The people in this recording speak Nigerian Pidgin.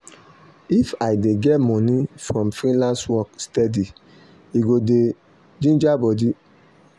if i dey get money from freelance work steady e go dey um ginger body